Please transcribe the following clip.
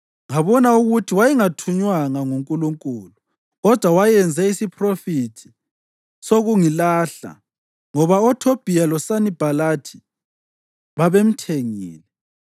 Ngabona ukuthi wayengathunywanga nguNkulunkulu, kodwa wayenze isiphrofethi sokungilahla ngoba oThobhiya loSanibhalathi babemthengile.